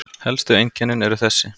Helstu einkennin eru þessi